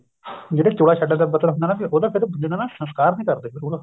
ਜਿਹੜੇ ਚੋਲਾ ਛੱਡਣ ਦਾ ਮਤਲਬ ਹੁੰਦਾ ਵੀ ਉਹਦਾ ਫ਼ਿਰ ਜਿਹੜਾ ਸੰਸਕਾਰ ਨੀ ਕਰਦੇ ਫੇਰ ਉਹਦਾ